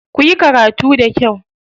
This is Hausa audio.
Kuyi karatu da kyau.